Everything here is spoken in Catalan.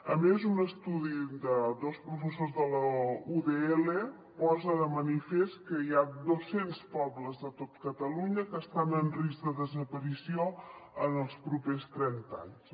a més un estudi de dos professors de la udl posa de manifest que hi ha dos cents pobles de tot catalunya que estan en risc de desaparició en els propers trenta anys